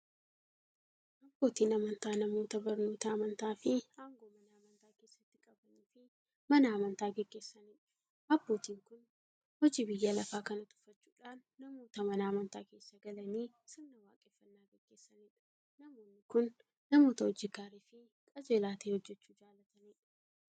Abbootiin amantaa namoota barnoota amantaafi aangoo Mana amantaa keessatti qabaniifi Mana amantaa gaggeessaniidha. Abbootiin kun hojii biyya lafaa kana tuffachuudhan namoota Mana amantaa keessa galanii sirna waaqeffannaa gaggeessaniidha. Namoonni kun, namoota hojii gaariifi qajeelaa ta'e hojjachuu jaalataniidha.